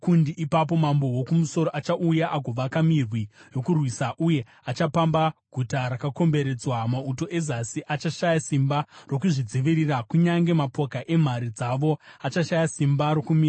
Ipapo mambo woKumusoro achauya agovaka mirwi yokurwisa uye achapamba guta rakakomberedzwa, Mauto eZasi achashaya simba rokuzvidzivirira; kunyange mapoka emhare dzavo achashaya simba rokumira.